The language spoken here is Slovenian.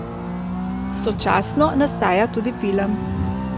Sočasno nastaja tudi film.